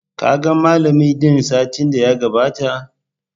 Ka ga Mallam dina satin da ya gabata?